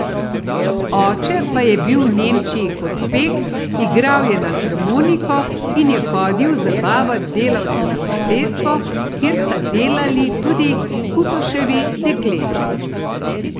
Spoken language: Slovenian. Oče pa je bil v Nemčiji kot pek, igral je na harmoniko in je hodil zabavat delavce na posestvo, kjer sta delali tudi Kutoševi dekleti.